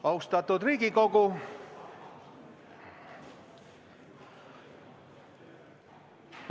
Austatud Riigikogu!